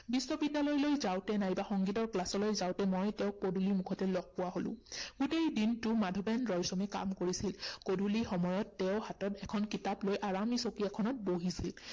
বিশ্ববিদ্যালয়লৈ যাওঁতে নাইবা সঙ্গীতৰ class লৈ যাওঁতে মই তেওঁক পদুলিৰ মুখতেই লগ পোৱা হলো। গোটেই দিনটো মাধবেন ৰয়ছমে কাম কৰিছিল। গধূলি সময়ত তেওঁ হাতত এখন কিতাপ লৈ আৰামী চকী এখনত বহিছিল।